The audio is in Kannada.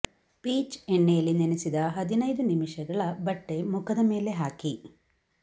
ಪೀಚ್ ಎಣ್ಣೆಯಲ್ಲಿ ನೆನೆಸಿದ ಹದಿನೈದು ನಿಮಿಷಗಳ ಬಟ್ಟೆ ಮುಖದ ಮೇಲೆ ಹಾಕಿ